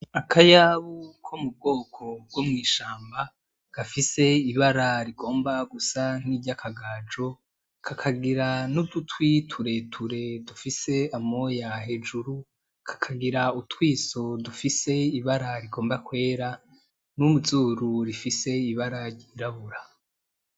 Akayabu ko mu bwoko bwo mw'ishamba gafise ibara rigomba gusa nk'irya akagajo kakagira n'udutwi tureture dufise amoya hejuru kakagira utwiso dufise ibara rigomba kwera n'uzuru rifise ibara rirabura.